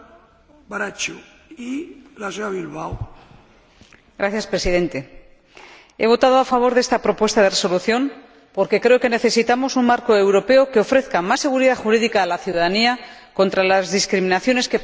Señor Presidente, he votado a favor de esta propuesta de Resolución porque creo que necesitamos un marco europeo que ofrezca más seguridad jurídica a la ciudadanía contra las discriminaciones que padece por razón de sexo.